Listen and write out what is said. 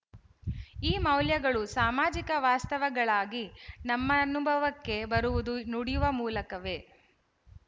ಈ ಮೌಲ್ಯಗಳು ಸಾಮಾಜಿಕ ವಾಸ್ತವಗಳಾಗಿ ನಮ್ಮನುಭವಕ್ಕೆ ಬರುವುದು ನುಡಿಯ ಮೂಲಕವೇ